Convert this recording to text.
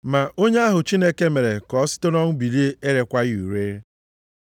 Ma onye ahụ Chineke mere ka o site nʼọnwụ bilite erekwaghị ure.